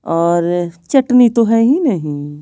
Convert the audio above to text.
और चटनी तो है ही नहीं ।